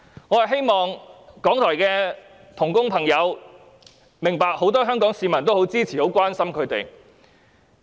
我希望藉此讓港台的同工朋友明白，很多香港市民皆支持和關心他們。